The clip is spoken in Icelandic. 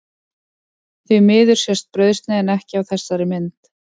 Því miður sést brauðsneiðin ekki á þessari mynd.